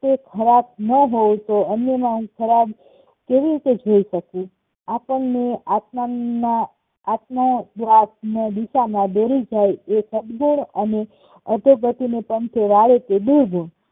ખરાબ નો હોવું જોયે વર્તમાન કેવી રીતે જીવી શકીયે? આપણેને આત્માના આત્મો બીજામાં દોરી જાય એ સદગુણ અને અધોગતિને પંથે વાળે તે દૂર હોય